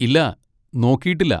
ഇല്ലാ, നോക്കിയിട്ടില്ല.